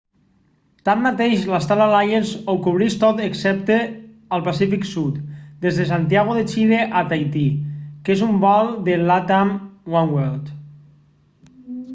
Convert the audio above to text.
tanmateix la star alliance ho cobreix tot excepte el pacífic sud des de santiago de chile a tahití que és un vol de latam oneworld